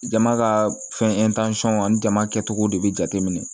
Jama ka fɛn ani jama kɛcogo de bɛ jateminɛ